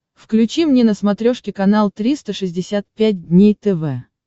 включи мне на смотрешке канал триста шестьдесят пять дней тв